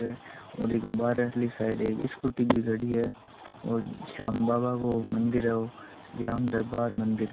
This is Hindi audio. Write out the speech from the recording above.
और एक बाहर ली साईड में एक स्कूटी भी खड़ी है और श्याम बाबा का मंदिर है वो श्याम दरबार मंदिर--